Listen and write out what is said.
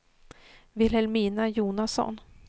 Vilhelmina Jonasson